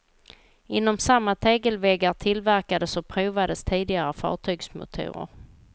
Inom samma tegelväggar tillverkades och provades tidigare fartygsmotorer.